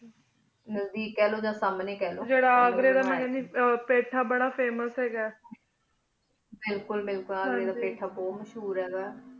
ਨਜਦੀਕ ਖਲੋ ਯਾ ਸਮਨ੍ਯ ਖ ਲੋ ਜੀਰਾ ਅਘ੍ਰੀ ਦਾ ਮਹਿਲ ਪਥ famious ਹੀ ਗਾ ਬਿਲਕੁਲ ਬਿਲਕੁਲ ਫਾਥਾ ਬੁਹਤ ਮਸ਼ਹੂਰ ਹੀ ਗਾ